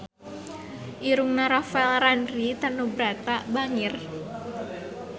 Irungna Rafael Landry Tanubrata bangir